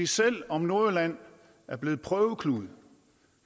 selv om nordjylland er blevet prøveklud